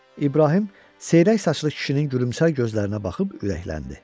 İbrahim seyrək saçlı kişinin gülümsər gözlərinə baxıb ürəkləndi.